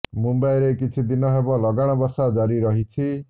ମୁମ୍ବାଇରେ କିଛି ଦିନ ହେବ ଲଗାଣ ବର୍ଷା ଜାରି ରହିଛି